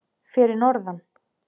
Fyrir norðan.